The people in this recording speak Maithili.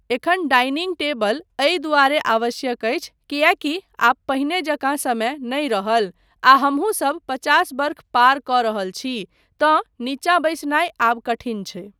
एखन डाइनिंग टेबल एहि दुआरे आवश्यक अछि किएकी अब पहिने जकाँ समय नहि रहल आ हमहुँसब पचास वर्ष पार कऽ रहल छी तँ नीचा बैसनाय आब कठिन छै।